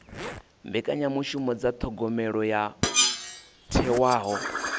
mbekanyamishumo dza thogomelo yo thewaho